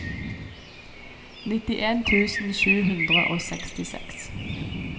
nittien tusen sju hundre og sekstiseks